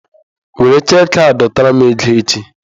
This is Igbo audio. Were cheeki a dọtara m ego echi!